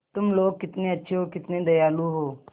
तुम लोग कितने अच्छे हो कितने दयालु हो